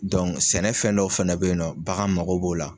sɛnɛ fɛn dɔw fana bɛyinnɔ bagan mago b'o la.